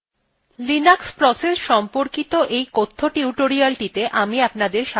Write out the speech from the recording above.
linux processes সম্পর্কিত এই কথ্য টিউটোরিয়ালটিতে আমি আপনাদের স্বাগত জানাচ্ছি